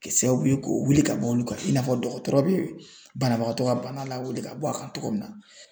Kɛ sababu ye k'o wuli ka bɔ olu kan i n'a fɔ dɔgɔtɔrɔ bɛ banabagatɔ ka bana lawuli ka bɔ a kan togo min na.